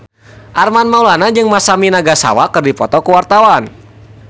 Armand Maulana jeung Masami Nagasawa keur dipoto ku wartawan